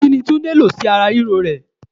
Kini Túndé lọ sí ara ríro ẹ?